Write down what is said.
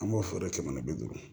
An b'o fɔ dɛ jamanadenw